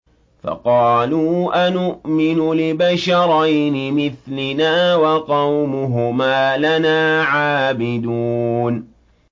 فَقَالُوا أَنُؤْمِنُ لِبَشَرَيْنِ مِثْلِنَا وَقَوْمُهُمَا لَنَا عَابِدُونَ